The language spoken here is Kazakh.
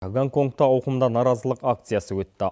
гонконгта ауқымды наразылық акциясы өтті